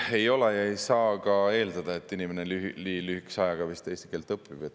Ei, ei ole, ja vist ei saa ka eeldada, et inimene nii lühikese ajaga eesti keele ära õpib.